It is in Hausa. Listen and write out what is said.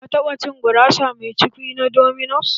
Ka taba cin gurasa mai cukwi na dominos?